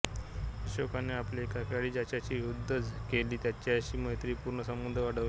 अशोकाने आपले एकेकाळी ज्याच्यांशी युद्धे केली त्यांच्याशीही मैत्रिपूर्ण संबध वाढवले